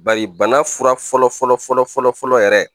Bari bana furauran fɔlɔ-fɔlɔ-fɔlɔ-fɔlɔ-fɔlɔ yɛrɛ